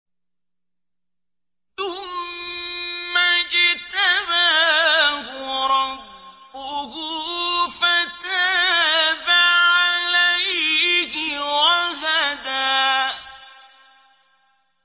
ثُمَّ اجْتَبَاهُ رَبُّهُ فَتَابَ عَلَيْهِ وَهَدَىٰ